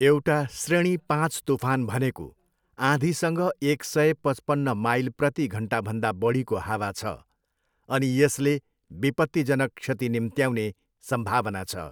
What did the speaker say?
एउटा श्रेणी पाँच तुफान भनेको आँधीसँग एक सय पचपन्न माइल प्रति घन्टाभन्दा बढीको हावा छ, अनि यसले विपत्तिजनक क्षति निम्त्याउने सम्भावना छ।